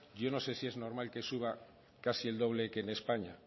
yo no sé si es normal que suba casi el doble que en españa